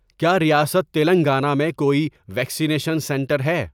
کیا ریاست تلنگانہ میں کوئی ویکسینیشن سنٹر ہے؟